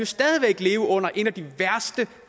stadig væk leve under et af de værste